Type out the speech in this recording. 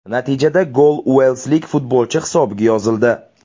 Natijada gol uelslik futbolchi hisobiga yozildi.